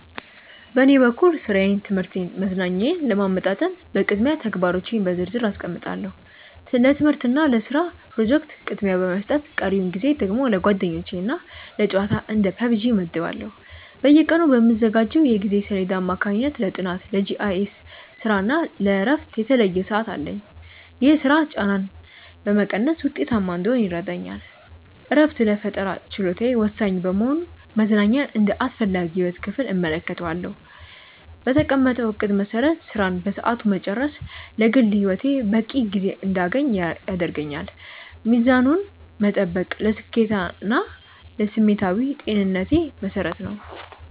በኔ በኩል ሥራዬን ትምህርቴንና መዝናኛዬን ለማመጣጠን በቅድሚያ ተግባሮቼን በዝርዝር አስቀምጣለሁ። ለትምህርትና ለስራ ፕሮጀክቶች ቅድሚያ በመስጠት ቀሪውን ጊዜ ደግሞ ለጓደኞችና ለጨዋታ (እንደ PUBG) እመድባለሁ። በየቀኑ በምዘጋጀው የጊዜ ሰሌዳ አማካኝነት ለጥናት፣ ለGIS ስራና ለእረፍት የተለየ ሰዓት አለኝ። ይህ ስርዓት ጫናን በመቀነስ ውጤታማ እንድሆን ይረዳኛል። እረፍት ለፈጠራ ችሎታዬ ወሳኝ በመሆኑ መዝናኛን እንደ አስፈላጊ የህይወት ክፍል እመለከተዋለሁ። በተቀመጠው እቅድ መሰረት ስራን በሰዓቱ መጨረስ ለግል ህይወቴ በቂ ጊዜ እንድያገኝ ያደርገኛል። ሚዛኑን መጠበቅ ለስኬቴና ለስሜታዊ ጤንነቴ መሰረት ነው።